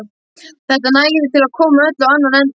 Þetta nægði til að koma öllu á annan endann.